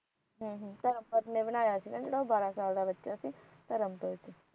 ਧਰਮ ਪਧ ਨੇ ਬਣਾਇਆ ਸੀ ਨਾ ਜਿਹੜਾ ਉਹ ਬਾਹਰਾ ਸਾਲ ਦਾ ਬੱਚਾ ਸੀ ਧਰਮ ਪਧ